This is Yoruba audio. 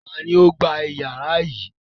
Ta ni ó gba ìyàrá yìí?